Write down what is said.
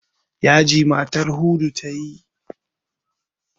Yaji matar Hudu ta yi jiya.